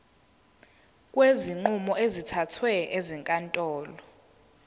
kwezinqumo ezithathwe ezinkantolo